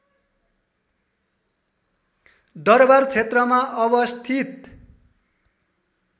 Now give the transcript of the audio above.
दरवार क्षेत्रमा अवस्थित